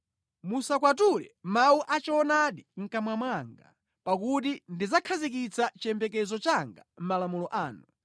Musakwatule mawu a choonadi mʼkamwa mwanga, pakuti ndakhazikitsa chiyembekezo changa mʼmalamulo anu.